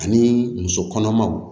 Ani muso kɔnɔmaw